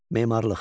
Memarlıq.